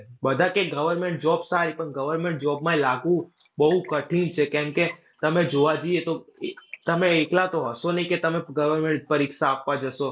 બધા કયે government job સારી. પણ government job માં લાગવું બૌ કઠિન છે કારણકે તમે જોવા જઈએ તો તમે એકલા તો હશો નહીં કે તમે government પરીક્ષા આપવા જશો.